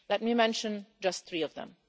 Let me mention just three of them.